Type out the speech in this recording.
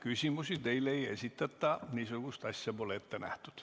Küsimusi teile ei esitata, niisugust asja pole ette nähtud.